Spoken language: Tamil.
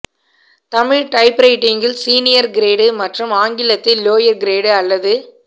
தமிழ் டைப்ரைட்டிங்கில் சீனியர் கிரேடு மற்றும் ஆங்கிலத்தில் லோயர் கிரேடு அல்லது